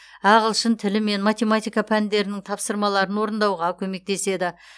ағылшын тілі мен математика пәндерінің тапсырмаларын орындауға көмектеседі